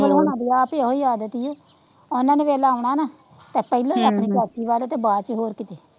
ਹੋਨਾ ਦੀ ਆਦਤ ਏਹੋ ਆਦਤ ਏ ਓਨਾ ਨੇ ਵੇਲਾ ਆਉਣਾ ਨਾਂ ਤਾਂ ਪਹਿਲੋਂ ਆਪਣੀ ਚਾਚੀ ਵੱਲ ਤੇ ਬਾਚ ਹੋਰ ਕੀਤੇ